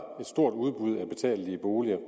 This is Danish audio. et stort udbud af betalelige boliger